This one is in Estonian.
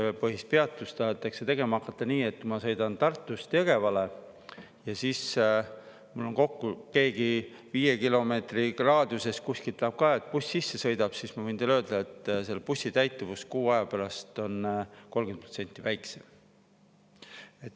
Kui nõudepõhist peatust tahetakse tegema hakata nii, et ma sõidan Tartust Jõgevale ja siis mul keegi viie kilomeetri raadiuses kuskil tahab ka, et buss sisse sõidab, siis ma võin teile öelda, et seal bussi täituvus kuu aja pärast on 30% väiksem.